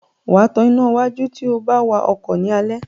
Wá tán iná wájú tíó bá wá ọkọ ni Alẹ́.